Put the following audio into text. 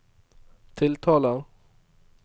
tiltaler